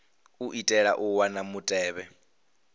u itela u wana mutevhe